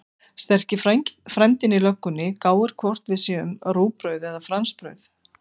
Sterki frændinn í löggunni gáir hvort við séum rúgbrauð eða fransbrauð.